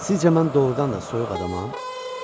Sizcə mən doğurdan da soyuq adamam?